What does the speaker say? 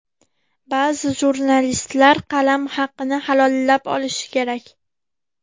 Ba’zi jurnalistlar qalam haqini halollab olishi kerak.